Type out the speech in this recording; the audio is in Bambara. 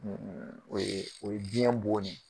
o ye o ye biyɛn bon ne